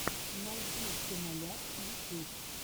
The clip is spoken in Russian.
найди киноляп ютьюб